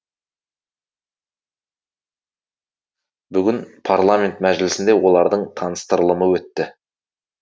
бүгін парламент мәжілісінде олардың таныстырылымы өтті